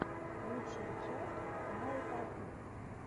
лучшая часть наотатуб